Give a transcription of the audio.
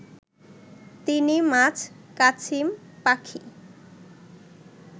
তিনি মাছ-কাছিম-পাখি